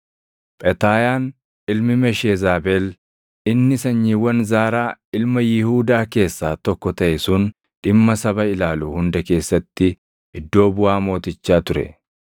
Phetaayaan ilmi Mesheezabeel inni sanyiiwwan Zaaraa ilma Yihuudaa keessaa tokko taʼe sun dhimma saba ilaalu hunda keessatti iddoo buʼaa mootichaa ture.